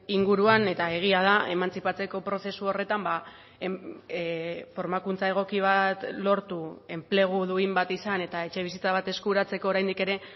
inguruan eta egia da emantzipatzeko prozesu horretan formakuntza egoki bat lortu enplegu duin bat izan eta etxebizitza bat eskuratzeko oraindik ere